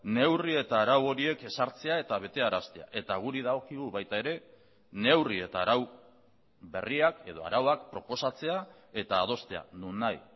neurri eta arau horiek ezartzea eta betearaztea eta guri dagokigu baita ere neurri eta arau berriak edo arauak proposatzea eta adostea non nahi